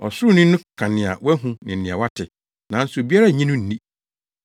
Ɔsoroni no ka nea wahu ne nea wate, nanso obiara nnye no nni.